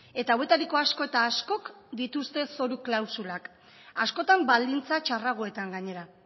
eta hauetariko asko eta askok dituzte zoru klausulak askotan baldintza txarragoetan gainera